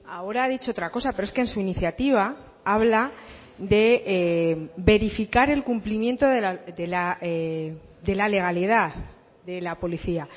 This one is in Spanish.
ahora ha dicho otra cosa pero es que en su iniciativa habla de verificar el cumplimiento de la legalidad de la policía